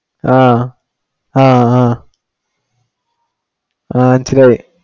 ആഹ് ആഹ് ആ